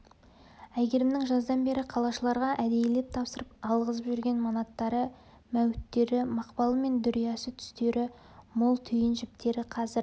әйгерімнің жаздан бергі қалашыларға әдейілеп тапсырып алғызып жүрген манаттары мәуіттері мақпалы мен дүриясы түстері мол түйін жіптері қазір